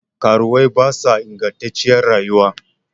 Karuwai ba sa ingattaciyar rayuwa